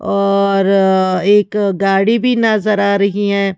और एक गाड़ी भी नजर आ रहीं हैं।